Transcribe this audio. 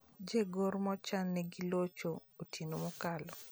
Je gor machan ne gilocho otieno mokalo